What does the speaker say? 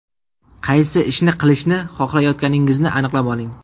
Qaysi ishni qilishni xohlayotganingizni aniqlab oling.